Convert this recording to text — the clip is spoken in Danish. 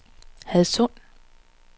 Hadsund